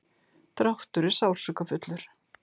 dráttur er sársaukafullur.